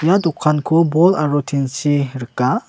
ia dokanko bol aro tin-chi rika.